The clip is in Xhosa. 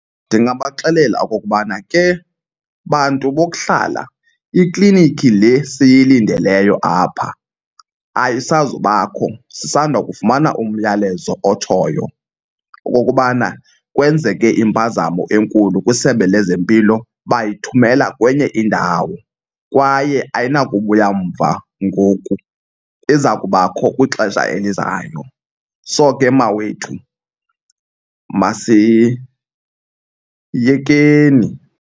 Ndingabaxelela okokubana, ke bantu bokuhlala, ikliniki le siyilindeleyo apha ayisazubakho. Sisanda kufumana umyalezo otshoyo okokubana kwenzeke impazamo enkulu kwiSebe lezeMpilo bayithumela kwenye indawo kwaye ayinakubuya mva ngoku, iza kubakho kwixesha elizayo. So ke mawethu, masiyekeni.